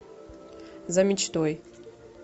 за мечтой